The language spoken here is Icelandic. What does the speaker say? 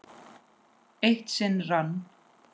Eitt sinn rann